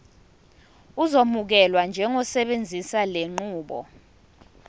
uzokwamukelwa njengosebenzisa lenqubo